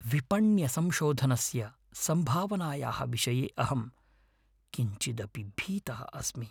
विपण्यसंशोधनस्य सम्भावनायाः विषये अहं किञ्चिदपि भीतः अस्मि।